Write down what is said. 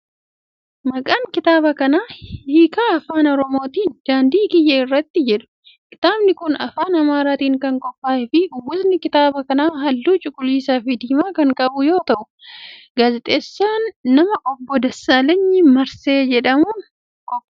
Maqaan kitaaba kanaa Hikkaa Afaan Oromootiin "Daandii Kiyya Irratti" jedha. Kitaabni kun afaan Amaaraatin kan qophaa'e fi uwwisni kitaaba kanaa haalluu cuquliisa fi diimaa kan qabu yoo ta'u, gaazexeessaa nama Obbo Dassaalany Maasree jedhamuun qophaa'e.